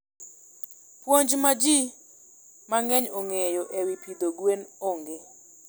Puonj ma ji mang'eny ong'eyo e wi pidho gwen onge.